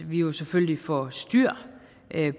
vi jo selvfølgelig får styr